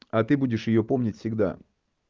а ты будешь её помнить всегда